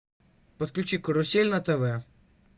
подключи карусель на тв